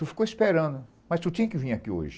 Tu ficou esperando, mas tu tinha que vir aqui hoje.